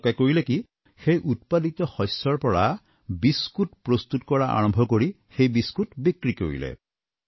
তেওঁলোকে কৰিলে কি সেই উৎপাদিত শস্যৰ পৰা বিস্কুট প্ৰস্তুত কৰা আৰম্ভ কৰি সেই বিস্কুট বিক্ৰী কৰিলে